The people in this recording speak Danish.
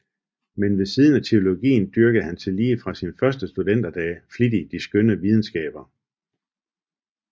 Men ved siden af teologien dyrkede han tillige fra sine første studenterdage flittig de skønne videnskaber